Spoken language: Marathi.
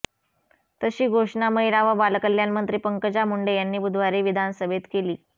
तशी घोषणा महिला व बालकल्याण मंत्री पंकजा मुंडे यांनी बुधवारी विधानसभेत केली